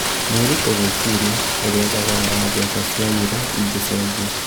Nĩũritũ gwĩcirĩria ũrĩa thogora wa mbeca cia euro ingĩcenjia.